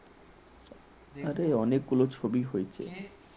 আরে অনেকগুলো ছবি হয়েছে